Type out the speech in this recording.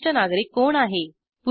वरिष्ठ नागरिक कोण आहे